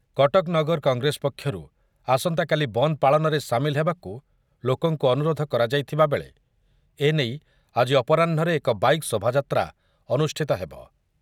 କଟକ ନଗର କଂଗ୍ରେସ ପକ୍ଷରୁ ଆସନ୍ତାକାଲି ବନ୍ଦ ପାଳନରେ ସାମିଲ ହେବାକୁ ଲୋକଙ୍କୁ ଅନୁରୋଧ କରାଯାଇଥିବା ବେଳେ ଏ ନେଇ ଆଜି ଅପରାହ୍ନରେ ଏକ ବାଇକ୍‌ ଶୋଭାଯାତ୍ରା ଅନୁଷ୍ଠିତ ହେବ ।